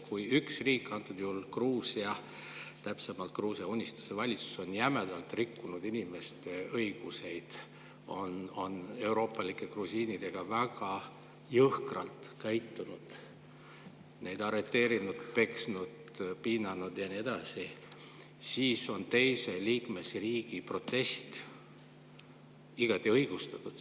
Kui üks riik, antud juhul Gruusia, täpsemalt Gruusia Unistuse valitsus on jämedalt rikkunud inimeste õigusi, on euroopalike grusiinidega väga jõhkralt käitunud, neid arreteerinud, peksnud, piinanud ja nii edasi, siis on teise liikmesriigi protest igati õigustatud.